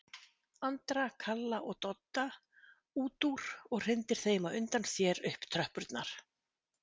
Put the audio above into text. Andra, Kalla og Dodda út úr og hrindir þeim á undan sér upp tröppurnar.